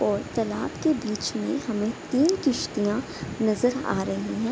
और तलाब के बिच में हमें तीन किस्तियां नजर आ रही हैं।